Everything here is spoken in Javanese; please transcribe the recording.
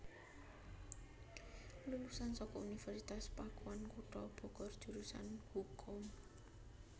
Lulusan saka Universitas Pakuan kutha Bogor jurusan Hukum